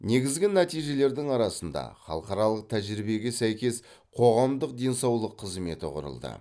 негізгі нәтижелердің арасында халықаралық тәжірибеге сәйкес қоғамдық денсаулық қызметі құрылды